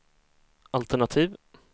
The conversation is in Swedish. altenativ